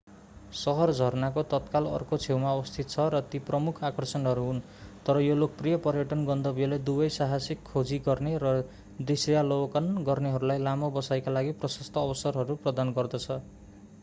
शहर झरनाको तत्काल अर्को छेउमा अवस्थित छ र ती प्रमुख आकर्षणहरू हुन् तर यो लोकप्रिय पर्यटन गन्तव्यले दुवै साहसिक खोजी गर्ने र दृश्यावलोकन गर्नेहरूलाई लामो बसाइका लागि प्रशस्त अवसरहरू प्रदान गर्दछ